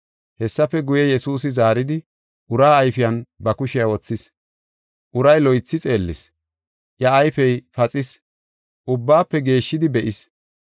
Hessafe guye, Yesuusi zaaridi, uraa ayfiyan ba kushiya wothis. Uray loythi xeellis, iya ayfey paxis, ubbaba geeshshidi be7is.